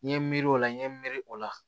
N ye miiri o la n ye miiri o la